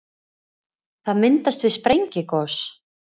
það myndast við sprengigos